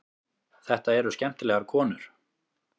Þetta eru skemmtilegar konur.